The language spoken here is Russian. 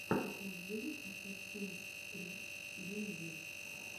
покажи асасинс крид юниверс